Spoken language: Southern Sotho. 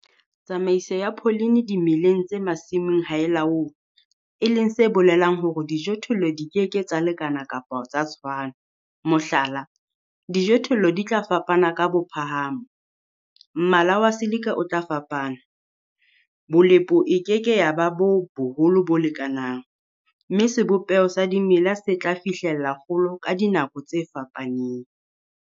Tsamaiso ya pholene dimeleng tse masimong ha e laolwe, e leng se bolelang hore dijothollo di ke ke tsa lekana kapa tsa tshwana, mohlala, dijothollo di tla fapana ka bophahamo, mmala wa silika o tla fapana, bolepo e ke ke ya ba ba boholo bo lekanang, mme sebopeho sa dimela se tla fihlella kgolo ka dinako tse fapanang.